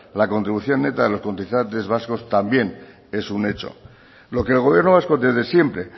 la contribución neta de los cotizantes vascos también es un hecho lo que el gobierno vasco desde siempre